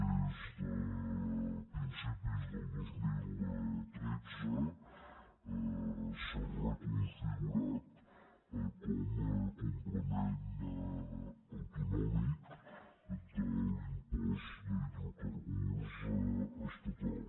des de principis del dos mil tretze s’ha reconfigurat com a complement autonòmic de l’impost d’hidrocarburs estatal